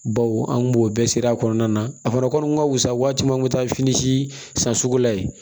Baw an kun b'o bɛɛ siri a kɔnɔna na a fana kɔni ka fusa waati min na an bɛ taa fini si san sugu la yen